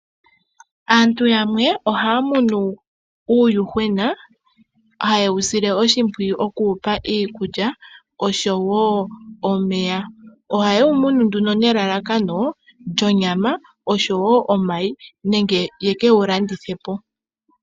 Aantu yamwe ohaya munu uuyuhwena haye wu sile oshimpwiyu okuwupa iikulya oshowo omeya. Ohaye wu munu nduno nelalakano lyonyama oshowo omayi nenge yeke wulandithe po.